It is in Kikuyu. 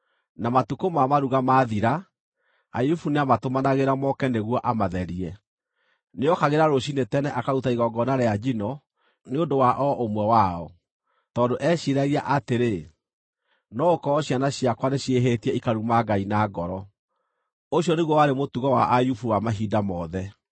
Na matukũ ma maruga maathira, Ayubu nĩamatũmanagĩra moke nĩguo amatherie. Nĩokagĩra rũciinĩ tene akaruta igongona rĩa njino nĩ ũndũ wa o ũmwe wao, tondũ eeciiragia atĩrĩ, “No gũkorwo ciana ciakwa nĩciĩhĩtie ikaruma Ngai na ngoro.” Ũcio nĩguo warĩ mũtũgo wa Ayubu wa mahinda mothe.